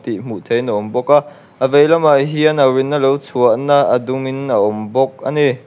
tih hmuh theihin a awm bawk a a veilamah hian au rin na lo chhuah na a dum in a awm bawk ani.